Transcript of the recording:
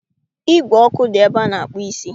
Ígwè ọkụ dị ebe a na-akpụ isi